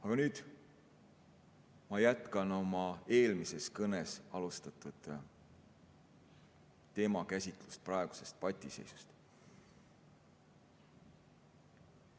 Aga nüüd ma jätkan oma eelmises kõnes alustatud teemakäsitlust, räägin praegusest patiseisust.